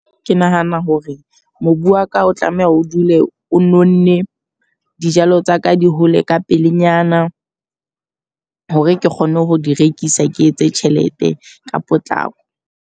Ke nahana hore mobu wa ka o tlameha o dule o Nonne, dijalo tsa ka di hole ka pelenyana hore ke kgone ho di rekisa. Ke etse tjhelete ka potlako.